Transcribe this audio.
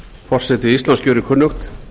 forseti íslands gjörir kunnugt